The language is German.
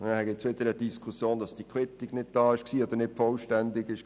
Das führt zur Diskussion, ob diese Quittung vorgelegen habe und vollständig gewesen sei.